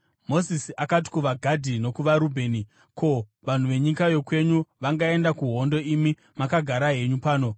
Mozisi akati kuvaGadhi nokuvaRubheni, “Ko, vanhu venyika yokwenyu vangaenda kuhondo imi makagara henyu pano?